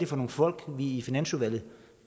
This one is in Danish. for nogle folk vi i finansudvalget